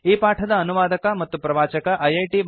ಈ ಪಾಠದ ಅನುವಾದಕ ಮತ್ತು ಪ್ರವಾಚಕ ಐಐಟಿ